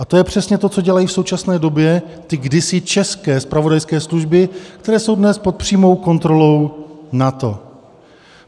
A to je přesně to, co dělají v současné době ty kdysi české zpravodajské služby, které jsou dnes pod přímou kontrolou NATO.